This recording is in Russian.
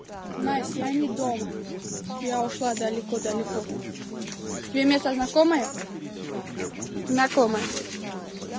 насть я не дома я ушла далеко далеко тебе место знакомое знакомое